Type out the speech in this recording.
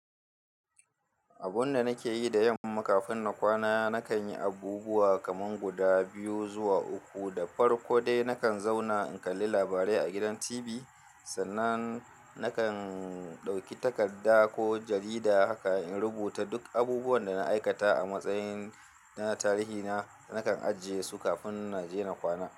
Abun da nake yi da yamma kafin na kwana, nakan yi abubuwa kaman guda biyu zuwa uku. Da farko dai nakan zauna in kalli labarai a gidan TV, sannan nakan ɗauki takarda ko jarida haka in rubuta duk abubuwan da na aikata a matsayin na tarihi na. Nakan ajiye su kafin na je na kwana.